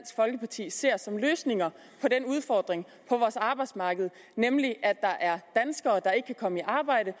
folkeparti ser som løsninger på den udfordring på vores arbejdsmarked at der er danskere der ikke kan komme i arbejde